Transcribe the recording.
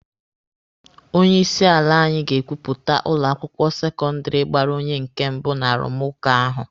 Onye isi ala anyị ga-ekwuputa ụlọ akwụkwọ sekọndịrị gbara onye nke mbụ n'arụmụka ahụ.